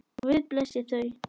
Guð blessi þau.